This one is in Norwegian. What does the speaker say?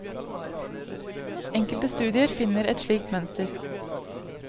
Enkelte studier finner et slikt mønster.